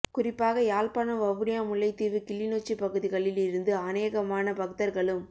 குறிப்பாக யாழ்பாணம் வவுனியா முல்லைத்தீவு கிளிநொச்சி பகுதிகளில் இருந்து அனேகமான பக்தர்களும்